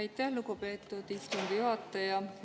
Aitäh, lugupeetud istungi juhataja!